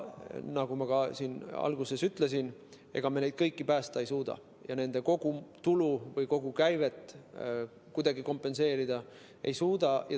Nagu ma ka alguses ütlesin, ega me neid kõiki päästa ei suuda ja kogu nende tulu või kogu käivet kuidagi kompenseerida ei suuda.